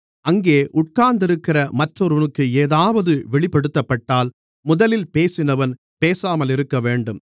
அங்கே உட்கார்ந்திருக்கிற மற்றொருவனுக்கு ஏதாவது வெளிப்படுத்தப்பட்டால் முதலில் பேசினவன் பேசாமலிருக்கவேண்டும்